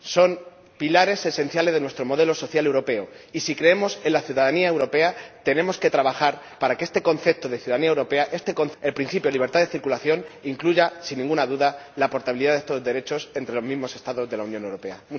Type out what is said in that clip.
Son pilares esenciales de nuestro modelo social europeo y, si creemos en la ciudadanía europea, tenemos que trabajar para que este concepto de ciudadanía europea, el principio de la libertad de circulación, incluya sin ninguna duda la portabilidad de estos derechos entre los propios Estados de la Unión Europea.